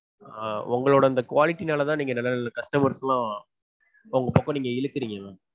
ஆஹ் உங்களோட அந்த quality னாலதா நீங்க நல்ல நல்ல customers லாம் உங்க பக்கம் இழுக்கறீங்க.